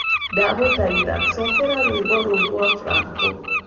ndagũthaĩtha cokera rwĩmbo rũũ rwa franco